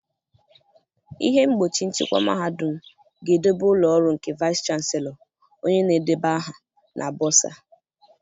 Ihe mgbochi nchịkwa mahadum ga-edobe ụlọ ọrụ nke Vaịsị Chanselọ, onye na-edeba aha, na Bọsaa.